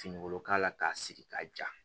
Finikolo k'a la k'a sigi k'a ja